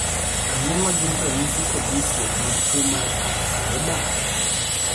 Ang'o ma gin ranyisi kod nyisruok mag tuo mar Parkes Weber?